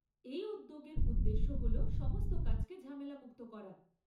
এই উদ্যোগের উদ্দেশ্য হল সমস্ত কাজকে ঝামেলামুক্ত করা।